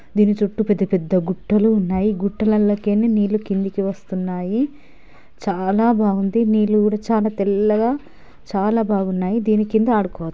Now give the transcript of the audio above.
దీని చుట్టూ పెద్ద పెద్ద గుట్టలు ఉన్నాయి గుట్టలల్కేల్లి నీల్లు కిందకి వస్తునాయి చాలా బాగుంది నీల్లు కూడా చాలా తెల్లగ చాలా బాగునాయి దీని కింద ఆడుకో --